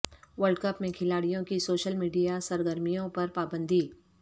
world cup میں کھلاڑیوں کی سوشل میڈیا سرگرمیوں پر پابندی